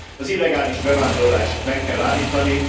Az illegális bevándorlást meg kell állítani.